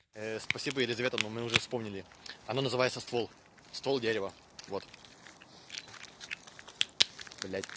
ээ спасибо елизавета но мы уже вспомнили оно называется ствол ствол дерева вот блять